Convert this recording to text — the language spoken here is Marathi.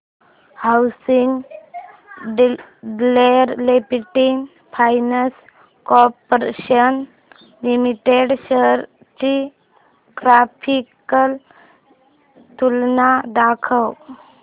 housing development finance corporation limited shares ची ग्राफिकल तुलना दाखव